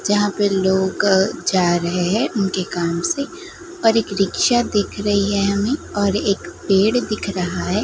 जहां पे लोग जा रहे हैं उनके काम से पर एक रिक्शा दिख रही है हमें और एक पेड़ दिख रहा है।